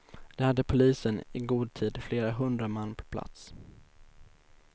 Där hade polisen i god tid flera hundra man på plats.